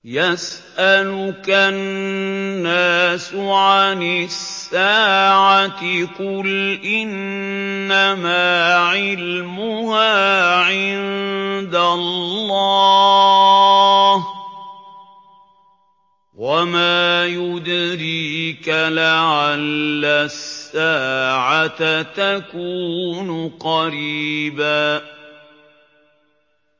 يَسْأَلُكَ النَّاسُ عَنِ السَّاعَةِ ۖ قُلْ إِنَّمَا عِلْمُهَا عِندَ اللَّهِ ۚ وَمَا يُدْرِيكَ لَعَلَّ السَّاعَةَ تَكُونُ قَرِيبًا